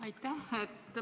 Aitäh!